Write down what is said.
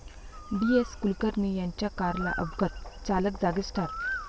डी.एस.कुलकर्णी यांच्या कारला अपघात, चालक जागीच ठार